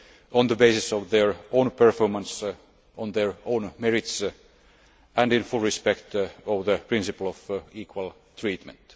on the basis of their own performance, on their own merits and with full respect to the principle of equal treatment.